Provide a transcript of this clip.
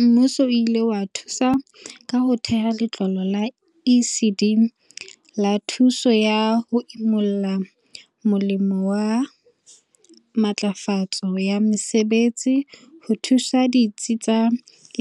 Mmuso o ile wa thusa ka ho theha Letlole la ECD la Thuso ya ho Imolla molemong wa Matlafatso ya Mosebetsi ho thusa ditsi tsa